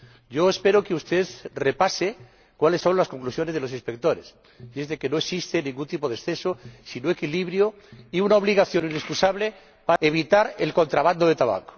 Yo espero que usted repase cuáles son las conclusiones de los inspectores que no existe ningún tipo de exceso, sino equilibrio y una obligación inexcusable de evitar el contrabando de tabaco.